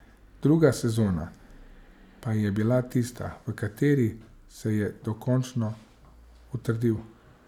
Druga sezona pa je bila tista, v kateri se je dokončno utrdil.